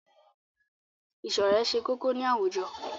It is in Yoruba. Ìṣọ̀rẹ́ ṣe kókó ní àwùjọ.